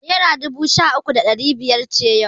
Naira dubu sha uku da ɗari biyar ce yau.